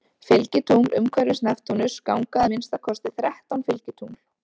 Fylgitungl Umhverfis Neptúnus ganga að minnsta kosti þrettán fylgitungl.